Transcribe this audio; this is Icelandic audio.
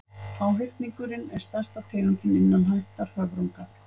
háhyrningurinn er stærsta tegundin innan ættar höfrunga